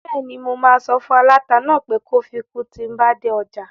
Bẹ́ẹ̀ni, mo máa sọ fún aláta náà pé kó fi kun tíi n bá dé ọjà